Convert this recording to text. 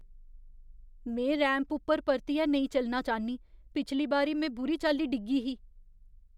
में रैंप उप्पर परतियै नेईं चलना चाह्न्नीं। पिछली बारी में बुरी चाल्ली डिग्गी ही।